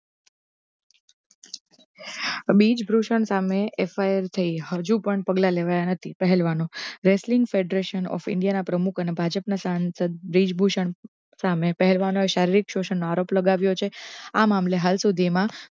બ્રિજભૂષણ સામે FIR થઈ હજૂ પણ પગલા લેવાયા નથી પહેલવાનો વેસલીન મીશન india ના પ્રમુખ અને ભાજપા ના સંસદ બ્રિજભૂષણ સામે પહેલવાનોએ શારિરીક શોષણ નો આરોપ લગાવ્યો છે આ મામલે હાઈકોટૅ મા